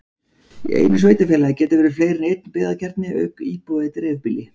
Í einu sveitarfélagi geta verið fleiri en einn byggðakjarni auk íbúa í dreifbýli.